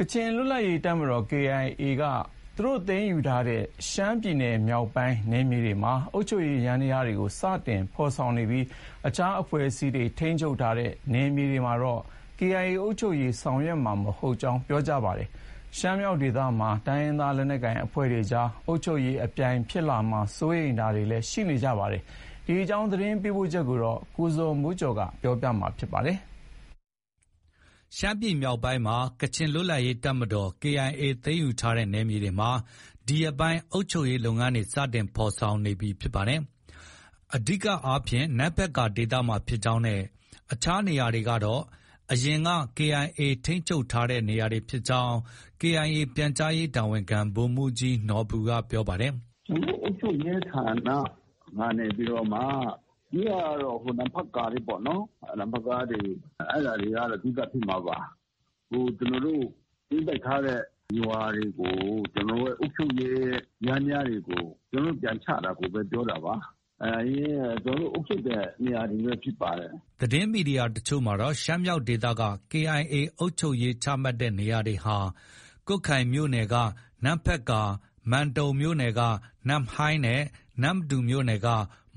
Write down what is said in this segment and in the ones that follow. ကချင်လွတ်လပ်ရေးတပ်မတော် KIA က သူတို့ သိမ်းယူထားတဲ့ ရှမ်းပြည်နယ်မြောက်ပိုင်းနယ်မြေတွေမှာ အုပ်ချုပ်ရေးယန္တရားတွေ စတင်ဖော်ဆောင်နေပြီး အခြားအဖွဲ့အစည်းတွေထိန်းချုပ်တဲ့နယ်မြေတွေမှာတော့ KIA အုပ်ချုပ်ရေးဆောင်ရွက်မှာ မဟုတ်ကြောင်း ပြောပါတယ်။ ရှမ်းမြောက်ဒေသမှာ တိုင်းရင်းသားလက်နက်ကိုင်အဖွဲ့တွေကြား အုပ်ချုပ်ရေးအပြိုင်ဖြစ်လာမှာ စိုးရိမ်တာတွေလည်းရှိနေပါတယ်။ ဒီအကြောင်း သတင်းပေးပို့ချက်ကို ကိုဇော်မိုးကျော်က တင်ပြပေးထားပါတယ်။ ရှမ်းပြည်နယ်မြောက်ပိုင်းဒေသက ကချင်လွတ်လပ်ရေးတပ်မတော် KIA သိမ်းယူထားတဲ့နယ်မြေဒေသတွေမှာ ဒီရက်ပိုင်း အုပ်ချုပ်ရေးလုပ်ငန်းတွေ စတင်ဖော်ဆောင်နေပြီ ဖြစ်ပါတယ်။ အဓိကအားဖြင့် နမ့်ဖတ်ကာဒေသဘက်မှာဖြစ်ကြောင်းနဲ့ အခြားနေရာတွေကတော့ အရင် KIA က ထိန်းချုပ်ထားတဲ့နေရာတွေဖြစ်ကြောင်း KIA ပြန်ကြားရေးတာဝန်ခံ ဗိုလ်မှူးကြီးနော်ဘူက ပြောပါတယ်။ “အုပ်ချုပ်ရေးဌာနကနေပြီးတော့မှ အဓိက,ကတော့ နမ့်ဖတ်ကာပဲပေါ့နော်။ နမ့်ဖတ်ကာတွေ၊ အဲဒါတွေကတော့ အဓိက ဖြစ်မှာပါ။ ကျနော်တို့ သိမ်းပိုက်ထားတဲ့ ရွာတွေကို ကျနော်တို့ရဲ့အုပ်ချုပ်ရေးယန္တရားတွေ ပြန်ချတာကိုပဲ ပြောတာပါ။ အရင် ကျနော်တို့ အုပ်ချုပ်တဲ့နေရာတွေပဲဖြစ်ပါတယ်။ ” သတင်းမီဒီယာအချို့မှာတော့ ရှမ်းမြောက်ဒေသက KIA အုပ်ချုပ်ရေးချမှတ်တဲ့ နေရာတွေဟာ ကွတ်ခိုင်မြို့နယ်က နမ့်ဖတ်ကာ၊ မန်တုံမြို့နယ်က နမ့်ဟိုင်းနဲ့ နမ္မတူမြို့နယ်က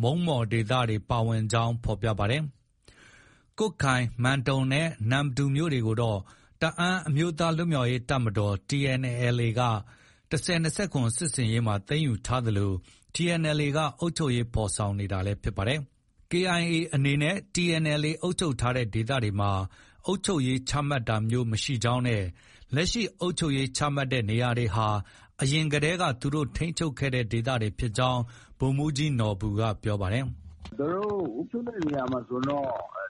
မုံးမော်ဒေသတွေ ပါဝင်ကြောင်း ဖော်ပြပါတယ်။ ကွတ်ခိုင်၊ မန်တုံနဲ့ နမ္မတူမြို့တွေကိုတော့ တအန်းအမျိုးသားလွတ်မြောက်ရေးတပ်မတော် TNLA က ၁၀၂၇ စစ်ဆင်ရေးမှာ သိမ်းယူထားသလို TNLA က အုပ်ချုပ်ရေးဖော်ဆောင်နေတာလည်း ဖြစ်ပါတယ်။ KIA အနေနဲ့ TNLA အုပ်ချုပ်ထားတဲ့ ဒေသတွေမှာ အုပ်ချုပ်ရေးချမှတ်တာမျိုး မရှိကြောင်းနဲ့ လက်ရှိ အုပ်ချုပ်ရေးချမှတ်တဲ့နေရာတွေဟာ အရင်ကတည်းက သူတို့ ထိန်းချုပ်ခဲ့တဲ့ ဒေသတွေဖြစ်ကြောင်း ဗိုလ်မှူးကြီးနော်ဘူက ပြောပါတယ်။ “သူတို့ အုပ်ချုပ်တဲ့နေရာမှာဆိုရင်တော့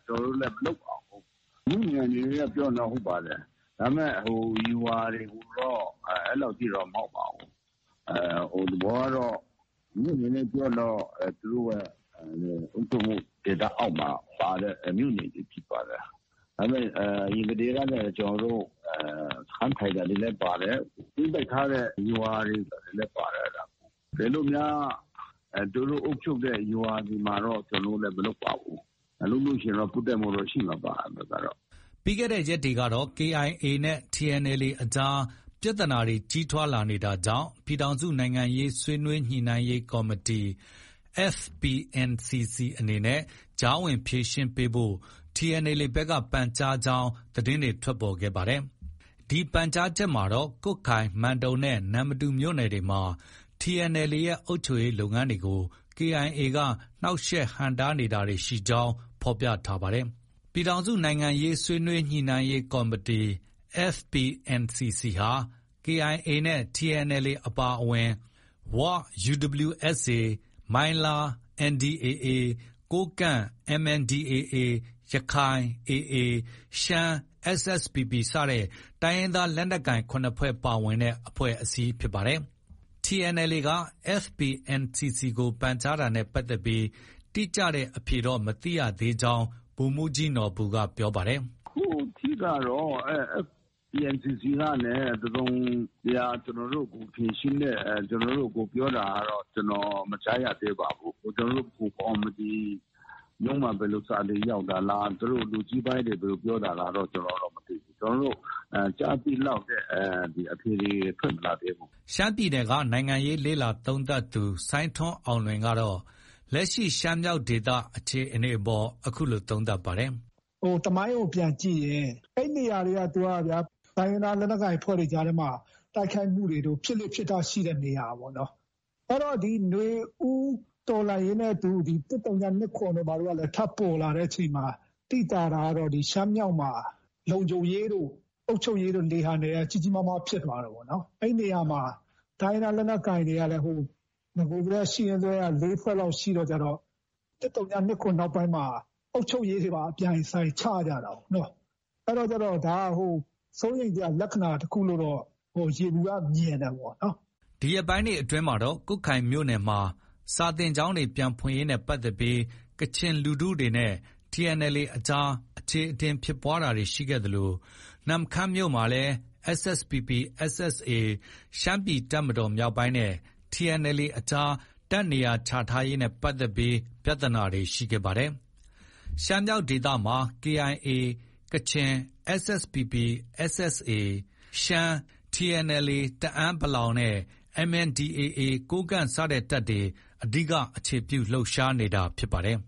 ကျနော်တို့လည်း မလုပ်ပါဘူး။ မြို့နယ်အနေနဲ့ ပြောရင်တော့ ဟုတ်ပါတယ်။ ဒါပေမဲ့ ရွာတွေအနေနဲ့ဆိုရင်တော့ အဲလောက်ကြီးတော့ မဟုတ်ပါဘူး။ သဘောကတော့ မြို့အနေနဲ့ပြောရင် သူတို့ရဲ့အုပ်ချုပ်မှုဒေသအောက်မှာပါတဲ့ မြို့နယ်တွေဖြစ်ပါတယ်။ ဒါပေမဲ့ အရင်ကတည်းကနေ ကျနော်တို့ စခန်းထိုင်တာတွေလည်းပါတယ်။ သိမ်းပိုက်ထားတဲ့ ရွာတွေလည်း ပါတယ်။ တကယ်လို့များ သူတို့ အုပ်ချုပ်တဲ့ရွာတွေကိုတော့ ကျနော်တို့လည်း မလုပ်ပါဘူး။ လုပ်လို့ရှိရင်တော့ ပွတ်တိုက်မှုက ရှိမှာပါ။” ပြီးခဲ့တဲ့ရက်တွေကတော့ KIA နဲ့ TNLA ကြား ပြဿနာတွေ ကြီးထွားလာနေတာကြောင့် ပြည်ထောင်စုနိုင်ငံရေးဆွေးနွေးညှိနှိုင်းရေးကော်မတီ FPNCC အနေနဲ့ ကြားဝင်ဖြေရှင်းပေးဖို့ TNLA ဘက်က ပန်ကြားကြောင်း သတင်းတွေထွက်ပေါ်လာပါတယ်။ ဒီပန်ကြားချက်မှာတော့ ကွတ်ခိုင်၊ မန်တုံနဲ့ နမ္မတူမြို့နယ်တွေမှာ TNLA ရဲ့ အုပ်ချုပ်ရေးလုပ်ငန်းတွေကို KIA က နှောင့်ယှက်ဟန့်တားတာတွေ ရှိနေကြောင်း ဖော်ပြပါတယ်။ ပြည်ထောင်စုနိုင်ငံရေးဆွေးနွေးညှိနှိုင်းရေးကော်မတီ FPNCC ဟာ KIA နဲ့ TNLA အပါအဝင် ဝ UWSA ၊ မိုင်းလား NDAA၊ ကိုးကန့် MNDAA ၊ ရခိုင် AA၊ ရှမ်း SSPP စတဲ့ တိုင်းရင်းသားလက်နက်ကိုင် ၇ ဖွဲ့ပါဝင်တဲ့ အဖွဲ့အစည်းဖြစ်ပါတယ်။ TNLA က FPNCC ကို ပန်ကြားတာနဲ့ပတ်သက်ပြီး တိကျတဲ့အဖြေတော့ မသိရသေးဘူးကြောင်း ဗိုလ်မှူးကြီးနော်ဘူက ပြောပါတယ်။ “အခုထိကတော့ FPNCC ကနေ တစုံတရာ ကျနော်တို့ကို ဖြေရှင်းတဲ့၊ ကျနော်တို့ကို ပြောတာကတော့ ကျနော် မကြားရသေးပါဘူး။ ကျနော်တို့ဗဟိုကော်မတီရုံးမှာ ဘယ်လိုစာတွေ ရောက်တာလဲ။ သူတို့ လူကြီးပိုင်းတွေ ဘယ်လိုပြောတာလဲတော့ ကျနော်ကတော့ မသိဘူး။ ကျနော်တို့ကြားသိလောက်တဲ့အဖြေတွေ ထွက်မလာသေးဘူး။” ရှမ်းပြည်နယ်က နိုင်ငံရေးလေ့လာသုံးသပ်သူ စိုင်းထွန်းအောင်လွင်ကတော့ လက်ရှိရှမ်းမြောက်ဒေသ အခြေအနေအပေါ် အခုလို သုံးသပ်ပါတယ်။ “သမိုင်းကို ပြန်ကြည့်ရင် အဲဒီနေရာတွေက တိုင်းရင်းသားလက်နက်ကိုင်အဖွဲ့တွေကြားထဲမှာ တိုက်ခိုက်မှုတွေ ဖြစ်လေ့ဖြစ်ထ ရှိတဲ့နေရာပေါ့။ အဲတော့ နွေဦးတော်လှန်ရေးနဲ့အတူ ၁၀၂၇ တို့ဘာတို့ကလည်း ထပြီး ပေါ်လာတဲ့အချိန်မှာ သိသာတာကတော့ ဒီ ရှမ်းမြောက်မှာ လုံခြုံရေးတို့၊ အုပ်ချုပ်ရေးတို့ လေဟာနယ်က ကြီးကြီးမားမားဖြစ်သွားတယ်ပေါ့နော်။ အဲဒီနေရာမှာ တိုင်းရင်းသားလက်နက်ကိုင်တွေကလည်း နဂိုတည်းက ရှိရင်းစွဲက ၄ ဖွဲ့လောက်ရှိတဲ့အခါကျတော့ ၁၀၂၇ နောက်ပိုင်းမှာ အုပ်ချုပ်ရေးတွေ အပြိုင်အဆိုင် ချကြတာကိုးနော။ အဲဒါကျတော့ ဒါက စိုးရိမ်စရာ လက္ခဏာတခုလို့တော့ ယေဘုယျမြင်တယ်ပေါ့။ ” ဒီရက်ပိုင်းတွေအတွင်းမှာတော့ ကွတ်ခိုင်မြို့နယ်မှာ စာသင်ကျောင်းပြန်ဖွင့်ရေးနဲ့ပတ်သက်ပြီး ကချင်လူထုတွေနဲ့ TNLA ကြားမှာ အချေအတင်ဖြစ်ပွားတာတွေရှိခဲ့သလို နမ့်ခမ်းမြို့နယ်မှာ SSPP/ SSA ရှမ်းပြည်တပ်မတော်မြောက်ပိုင်းနဲ့ TNLA အကြားလည်း တပ်နေရာချထားရေးနဲ့ပတ်သက်ပြီး ပြဿနာတွေ ရှိခဲ့ပါတယ်။ ရှမ်းမြောက်ဒေသမှာ KAI ကချင်၊ SSPP/ SSA ရှမ်း၊ TNLA တအန်း(ပလောင်) နဲ့ MNDAA ကိုးကန့် စတဲ့ တပ်တွေ အဓိက အခြေပြု လှုပ်ရှားနေတာလည်း ဖြစ်ပါတယ်။